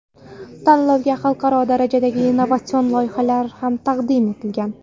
Tanlovga xalqaro darajadagi innovatsion loyihalar ham taqdim etilgan.